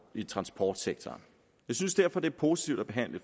i transportsektoren jeg synes derfor det er positivt at behandle